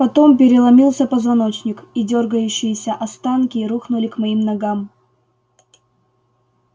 потом переломился позвоночник и дёргающиеся останки рухнули к моим ногам